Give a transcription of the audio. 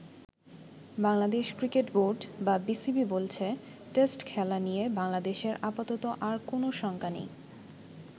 Bangladesh cricket board বা BCB বলছে test খেলা নিয়ে বাংলাদেশের আপাতত আর কোন শঙ্কা নেই।